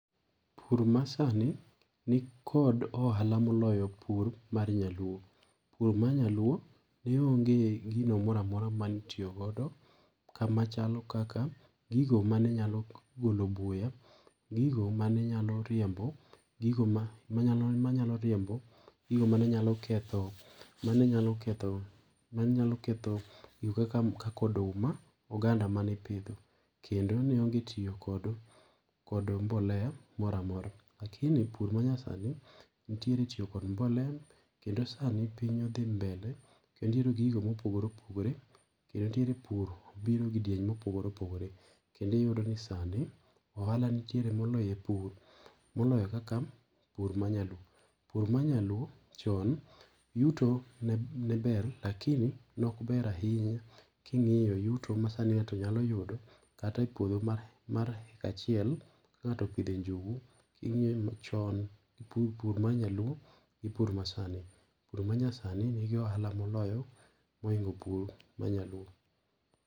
Pur masani ni kod ohala moloyo pur mar nyaluo. Pur mar nyaluo neonge gino mora amora mane itiyogodo kamachalo kaka gigo mane nyalo golo buya, gigo ma mane nyalo riembo, gigo ma ma nyalo riembo, gigi manenyalo ketho manenyalo ketho manenyalo ketho gigo kaka oduma gi oganda mane ipidho. Kendo ne onge tiyo kod mboleya moro amora. Lakini pur ma nyasani nitiere tiyo kod mbolea kendo sani piny odhi mbele kendo iyudo gigo mo opogore opogore kendo nitiere pur biro kidieny mopogore opogore. Kendo iyudo ni sani, ohala nitiere moloyo e pur moloyo kaka pur ma nyaluo. Pur ma nyaluo chon, yuto ne ber lakini[sc] ne ok ber ahinya king'iyo yuto ma sani ng'ato nyalo yudo kata e puodho mar hecta achiel ka ngato opidho e njugu ing'iyo chon pur mar nya luo gi pur ma sani. Pur ma nyasani ni gi ohala moloyo mohingo pur mar nyaluo.